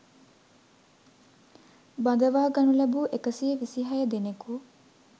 බඳවා ගනු ලැබූ එකසිය විසිහය දෙනෙකු